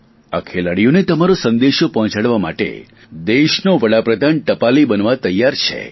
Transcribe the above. આ ખેલાડીઓને તમારો સંદેશો પહોંચાડવા માટે દેશનો વડાપ્રધાન ટપાલી બનવા તૈયાર છે